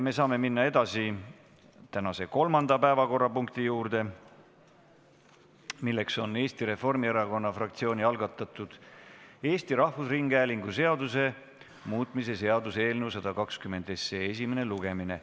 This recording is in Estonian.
Me saame minna edasi tänase kolmanda päevakorrapunkti juurde, milleks on Eesti Reformierakonna fraktsiooni algatatud Eesti Rahvusringhäälingu seaduse muutmise seaduse eelnõu 122 esimene lugemine.